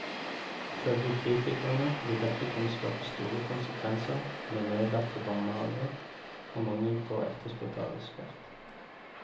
Ifølge kritikerne vil dette kunne skape store konsekvenser med nedlagte barnehaver og mangel på etterspurt arbeidskraft.